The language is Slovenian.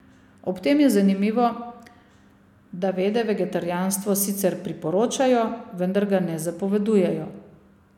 Ob tem je zanimivo, da Vede vegetarijanstvo sicer priporočajo, vendar ga ne zapovedujejo.